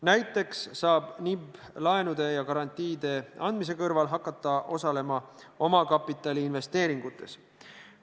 Näiteks saab NIB laenude ja garantiide andmise kõrval hakata osalema omakapitaliinvesteeringutes.